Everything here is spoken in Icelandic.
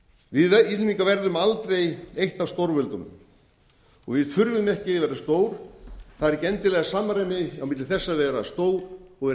við íslendingar verðum aldrei eitt af stórveldunum við þurfum ekki að vera stór það er ekki endilega samræmi á milli þess að vera stór og vera